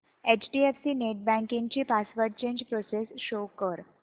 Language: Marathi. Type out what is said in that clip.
एचडीएफसी नेटबँकिंग ची पासवर्ड चेंज प्रोसेस शो कर